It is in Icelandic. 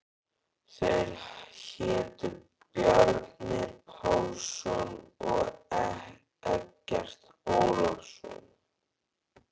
Þeir hétu Bjarni Pálsson og Eggert Ólafsson.